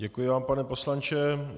Děkuji vám, pane poslanče.